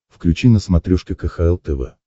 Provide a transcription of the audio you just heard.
включи на смотрешке кхл тв